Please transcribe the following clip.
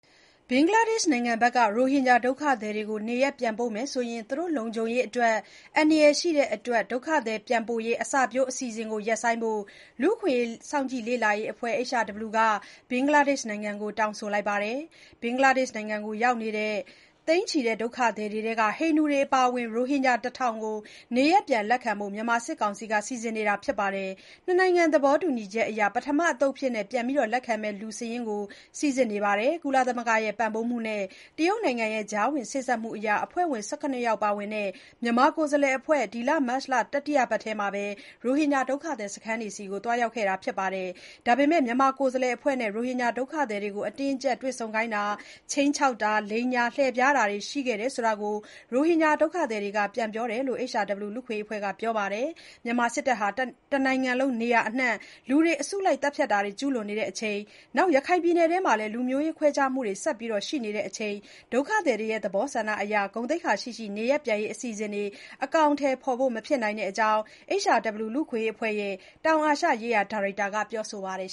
ဘင်္ဂလားဒေ့ရှ်နိုင်ငံဘက်က ရိုဟင်ဂျာ ဒုက္ခသည်တွေကို နေရပ်ပြန်ပို့မယ်ဆိုရင် လုံခြုံရေးအတွက် အန္တရာယ်ရှိတဲ့အတွက် ဒုက္ခသည်ပြန်ပို့ရေး အစပျိုးအစီအစဉ်ကို ရပ်ဆိုင်းဖို့ လူ့အခွင့်အရေး စောင့်ကြည့်လေ့လာရေးအဖွဲ့ HRW က ဘင်္ဂလားဒေ့ရှ်နိုင်ငံကို တောင်းဆိုလိုက်ပါတယ်။ ဘင်္ဂလားဒေ့ရှ်နိုင်ငံမှာ ရောက်နေတဲ့ ဒုက္ခသည်တွေထဲက ဟိန္ဒူတွေအပါအဝင် ရိုဟင်ဂျာ ၁၀၀၀ ကို နေရပ်ပြန်လက်ခံဖို့ မြန်မာစစ်ကောင်စီက စီစဉ်နေပါတယ်။ ၂ နိုင်ငံ သဘောတူညီချက်အရ ပထမအသုတ်အဖြစ် ပြန်လက်ခံမယ့် လူစာရင်းကို စိစစ်နေတယ်လို့လည်း ပြောပါတယ်။ ကုလသမဂ္ဂရဲ့ ပံ့ပိုးမှုနဲ့ တရုတ်နိုင်ငံရဲ့ ကြားဝင်စေ့စပ်မှုတွေအရ အဖွဲ့ဝင် ၁၇ ယောက်ပါဝင်တဲ့ မြန်မာကိုယ်စားလှယ်အဖွဲ့ မတ်လတတိယပတ်ထဲမှာ ဒုက္ခသည်စခန်းကို သွားရောက်ခဲ့ပါတယ်။ ဒါပေမယ့် မြန်မာကိုယ်စားလှယ်အဖွဲ့နဲ့ အတင်းအကြပ်တွေ့ဆုံခိုင်းတာ၊ ခြိမ်းခြောက်တာ၊ လိမ်ညာလှည့်ဖျားတာတွေ ရှိခဲ့တဲ့အကြောင်း ရိုဟင်ဂျာဒုက္ခသည်တွေ ပြန်ပြောတာကို HRW လူ့အခွင့်အရေးအဖွဲ့က ပြောဆိုပါတယ်။ မြန်မာစစ်တပ်က တနိုင်ငံလုံးနေရာအနှံ့ လူတွေ အစုလိုက်သတ်ဖြတ်တာတွေ ကျုးလွန်နေတဲ့အချိန်၊ ရခိုင်ပြည်နယ်အတွင်း လူမျိုးရေး ခွဲခြားမှုတွေ ရှိနေတဲ့အချိန်၊ ဒုက္ခသည်တွေရဲ့ သဘောဆန္ဒအရ ဂုဏ်သိက္ခာရှိရှိ နေရပ်ပြန်ရေးအစီအစဉ်တွေ အကောင်အထည်ဖေါ်ဖို့ မဖြစ်နိုင်တဲ့အကြောင်း HRW လူ့အခွင့်အရေးအဖွဲ့ရဲ့ တောင်အာရှရေးရာ ဒါရိုက်တာ Meenakshi Ganguly က ပြောဆိုပါတယ်